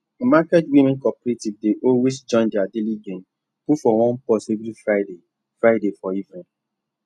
market women cooperative dey always join their daily gain put for one purse every friday friday for evening